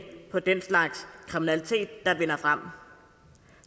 på den slags kriminalitet der vinder frem